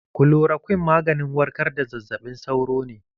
Kulorakwin maganin warkar da zazzaɓin sauro ne.